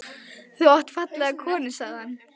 Þú átt fallega konu sagði hann.